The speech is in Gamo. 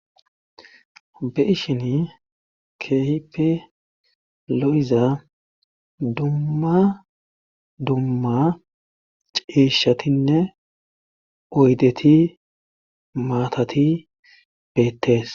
be ishini kehipe lo7iza dumma dumma ciishatinne oydeti maatati beettees